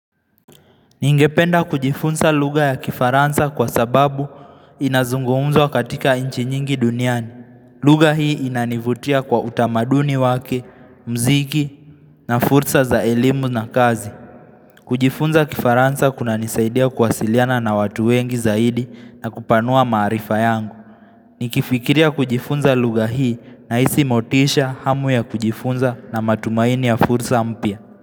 Ningependa kujifunza luga ya kifaransa kwa sababu inazungumzwa katika nchi nyingi duniani. Luga hii inanivutia kwa utamaduni wake, mziki na fursa za elimu na kazi. Kujifunza kifaransa kunanisaidia kwasiliana na watu wengi zaidi na kupanua marifa yangu. Nikifikiria kujifunza luga hii nahisi motisha hamu ya kujifunza na matumaini ya fursa mpia.